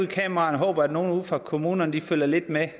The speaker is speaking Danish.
kameraerne håber at nogle ude fra kommunerne følger lidt med